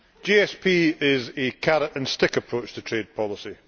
GSP is a carrot and stick approach to trade policy.